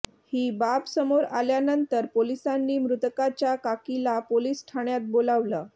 ही बाब समोर आल्यानंतर पोलिसांनी मृतकाच्या काकीला पोलीस ठाण्यात बोलावलं